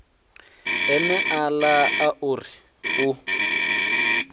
eneala a u ri u